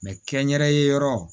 kɛ n yɛrɛ ye yɔrɔ